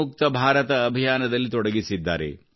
ಮುಕ್ತ ಭಾರತದ ಅಭಿಯಾನದಲ್ಲಿ ತೊಡಗಿಸಿದ್ದಾರೆ